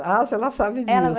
Ah, se ela sabe disso. Ela vai